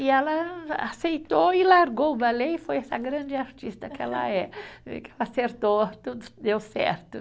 E ela aceitou e largou o balé e foi essa grande artista que ela é. Acertou, tudo deu certo.